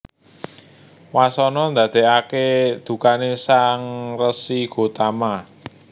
Wasana ndadèkaké dukané Sang Resi Gotama